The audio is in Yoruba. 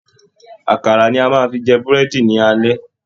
Àkàrà ni a máa fi jẹ Búrẹ́dì ní alẹ́